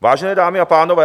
Vážené dámy a pánové...